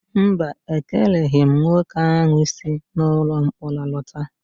Mba, ekeleghị m nwoke ahụ si ụlọmkpọrọ lọta